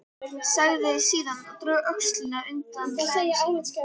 Sagði síðan og dró öxina undan klæðum sínum